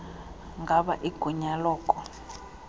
ngaba igunya loko